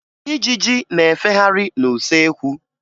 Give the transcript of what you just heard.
Ijiji na-efegharị n'usekwu